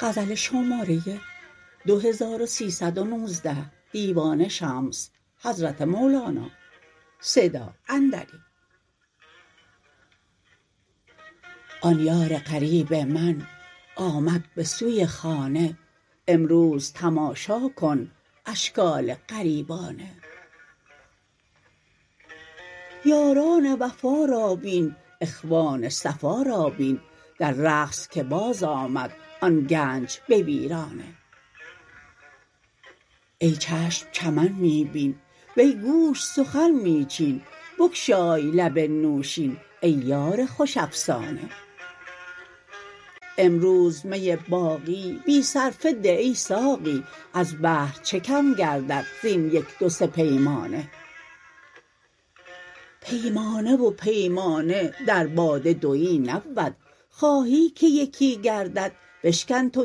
آن یار غریب من آمد به سوی خانه امروز تماشا کن اشکال غریبانه یاران وفا را بین اخوان صفا را بین در رقص که بازآمد آن گنج به ویرانه ای چشم چمن می بین وی گوش سخن می چین بگشای لب نوشین ای یار خوش افسانه امروز می باقی بی صرفه ده ای ساقی از بحر چه کم گردد زین یک دو سه پیمانه پیمانه و پیمانه در باده دوی نبود خواهی که یکی گردد بشکن تو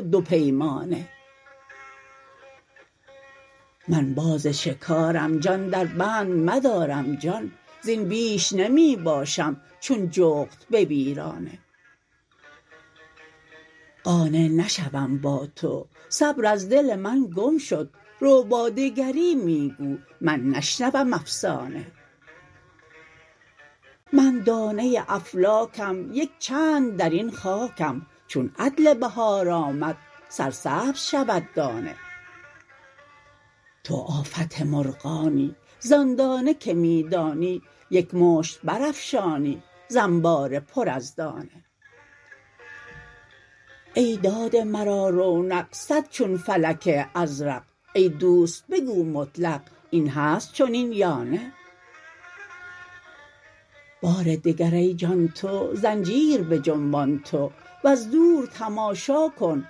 دو پیمانه من باز شکارم جان دربند مدارم جان زین بیش نمی باشم چون جغد به ویرانه قانع نشوم با تو صبر از دل من گم شد رو با دگری می گو من نشنوم افسانه من دانه افلاکم یک چند در این خاکم چون عدل بهار آمد سرسبز شود دانه تو آفت مرغانی زان دانه که می دانی یک مشت برافشانی ز انبار پر از دانه ای داده مرا رونق صد چون فلک ازرق ای دوست بگو مطلق این هست چنین یا نه بار دگر ای جان تو زنجیر بجنبان تو وز دور تماشا کن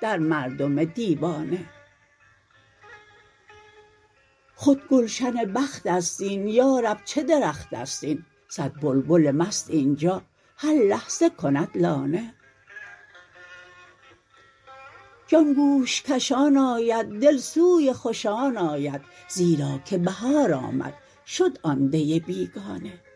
در مردم دیوانه خود گلشن بخت است این یا رب چه درخت است این صد بلبل مست این جا هر لحظه کند لانه جان گوش کشان آید دل سوی خوشان آید زیرا که بهار آمد شد آن دی بیگانه